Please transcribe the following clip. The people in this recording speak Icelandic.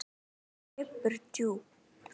Og hann liggur djúpt